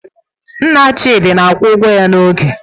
Nna Chidi na-akwụ ụgwọ ya n'oge.